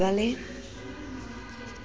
ba ne ba na le